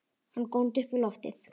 Hann góndi upp í loftið!